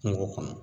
Kungo kɔnɔ